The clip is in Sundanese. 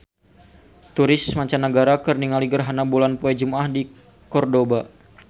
Turis mancanagara keur ningali gerhana bulan poe Jumaah di Kordoba